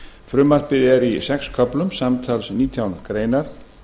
frumvarpið er í sex köflum samtals nítján greinar